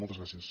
moltes gràcies